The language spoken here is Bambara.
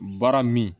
Baara min